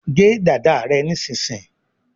gé dada rẹ nísìsiyìí!